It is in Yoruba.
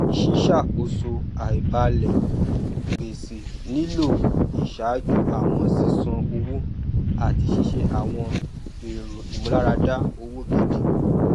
ṣíṣàkóso àìbalẹ gbèsè nílò ìṣàjú àwọn sísan owó àti ṣíṣe àwọn èrò ìmúláradá owó gidi